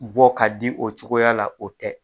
Bɔ ka di o cogoya la, o tɛ.